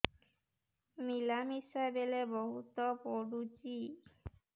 ମିଳାମିଶା ବେଳେ ବହୁତ ପୁଡୁଚି